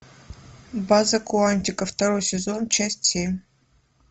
база куантико второй сезон часть семь